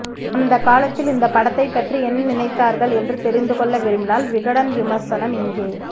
அந்த காலத்தில் இந்த படத்தை பற்றி என்ன நினைத்தார்கள் என்று தெரிந்து கொள்ள விரும்பினால் விகடன் விமர்சனம் இங்கே